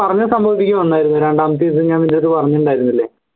പറഞ്ഞ സംഭവം രണ്ടാമതീസം ഞാൻ നിൻറെടുത്ത് പറഞ്ഞിട്ണ്ടായിരുനില്ലേ